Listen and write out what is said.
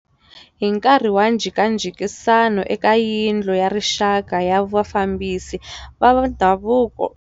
Hi nkarhi wa njhekanjhekisano eka Yindlu ya rixaka ya vafambisi va swa ndhavuko.